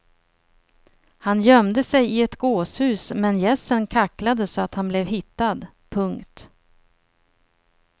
Han gömde sig i ett gåshus men gässen kacklade så att han blev hittad. punkt